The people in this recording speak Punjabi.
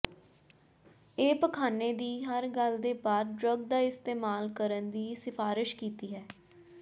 ਇਹ ਪਖਾਨੇ ਦੀ ਹਰ ਗੱਲ ਦੇ ਬਾਅਦ ਡਰੱਗ ਦਾ ਇਸਤੇਮਾਲ ਕਰਨ ਦੀ ਸਿਫਾਰਸ਼ ਕੀਤੀ ਹੈ